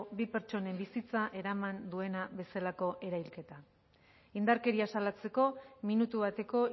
bi pertsonen bizitza eraman duena bezalako erailketa indarkeria salatzeko minutu bateko